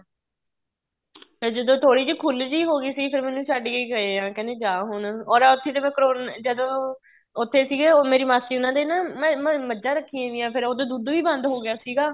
ਜਦੋਂ ਥੋੜੀ ਜ਼ੀ ਖੁੱਲ ਜੀ ਹੋ ਗਈ ਸੀ ਫ਼ੇਰ ਮੈਨੂੰ ਛੱਡ ਕੇ ਗਏ ਹੈ ਕਹਿੰਦੇ ਜਾਂ ਹੁਣ ਔਰ ਉਥੇ ਤੇ ਮੈਂ ਕਰੋਨਾ ਜਦੋਂ ਉੱਥੇ ਸੀਗੇ ਉਹ ਮੇਰੀ ਮਾਸੀ ਉਹਨਾ ਦੇ ਨਾ ਮੱਝਾ ਰੱਖੀਆਂ ਵੀਆਂ ਫ਼ੇਰ ਉਹਦੋ ਦੁੱਧ ਵੀ ਬੰਦ ਹੋ ਗਿਆ ਸੀਗਾ